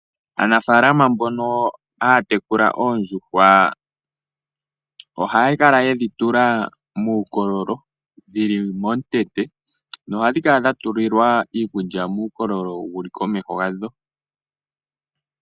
Aanafaalama mbono haa tekula oondjuhwa ohaya kala ye dhi tula muukolololo dhili momutete. Nohadhi kala dha tililwa iikulya muukololo wuli komeho yadho.